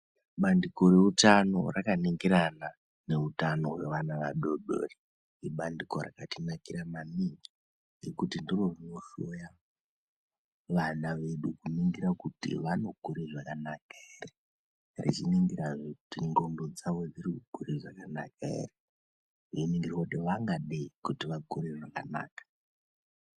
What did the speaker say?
Bandiko re utano raka ningirana ne utano hwe vana vadodori ibandiko rakati nakira maningi ngekuti ndiro rino hloya vana vedu ku ningira kuti vano kure zvakanaka ere richi ningira hee kuti ndxondo dzavo dziri ku kure zvakanaka ere eyi ningirwa kuti vangadei kuti vakure zvakanaka.